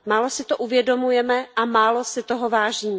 Málo si to uvědomujeme a málo si toho vážíme.